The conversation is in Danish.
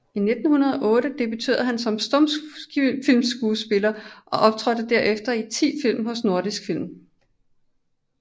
I 1908 debuterede han som stumfilmskuespiller og optrådte derefter i 10 film hos Nordisk Film